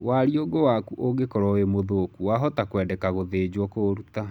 Wariũngũ waku ũngĩkoro wĩ mũthũku, wahota kwendeka gũthĩnjo kũũruta.